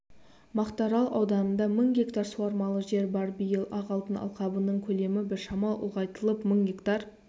мақтаарал ауданында мың гектар суармалы жер бар биыл ақ алтын алқабының көлемі біршама ұлғайтылып мың гектар